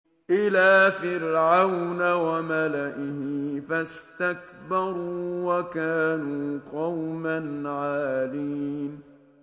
إِلَىٰ فِرْعَوْنَ وَمَلَئِهِ فَاسْتَكْبَرُوا وَكَانُوا قَوْمًا عَالِينَ